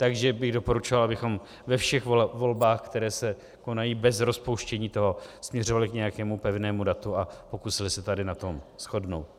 Takže bych doporučoval, abychom ve všech volbách, které se konají bez rozpouštění, to směřovali k nějakému pevnému datu a pokusili se tady na tom shodnout.